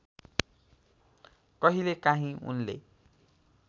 कहिले काहीँ उनले